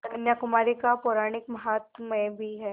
कन्याकुमारी का पौराणिक माहात्म्य भी है